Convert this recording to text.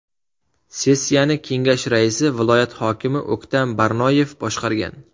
Sessiyani kengash raisi, viloyat hokimi O‘ktam Barnoyev boshqargan.